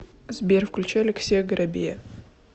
сбер включи алексея горобея